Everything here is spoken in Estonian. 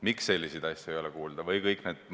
Miks selliseid asju ei ole kuulda?